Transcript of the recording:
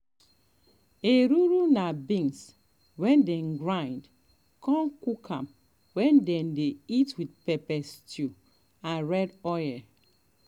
ekuru na beans wey dem grind con cook am wey dem dey eat with pepper stew and red oil